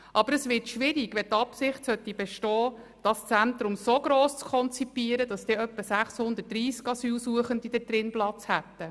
Aber es wird schwierig, wenn die Absicht besteht, das Zentrum so gross zu konzipieren, dass etwa 630 Asylsuchende darin Platz hätten.